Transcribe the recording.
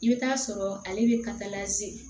I bɛ taa sɔrɔ ale bɛ